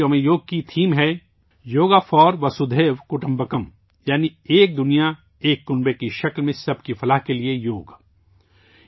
اس سال یوگا ڈے کا تھیم ہے یوگا فار وسودھیو کٹمبکم یعنی ' ایک کرہ ارضایک خاندان' کی شکل میں سب کی بہبود کے لیے یوگا